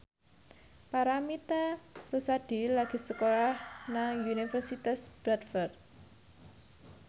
Paramitha Rusady lagi sekolah nang Universitas Bradford